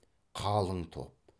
қалың топ